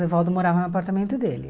O Evaldo morava no apartamento dele.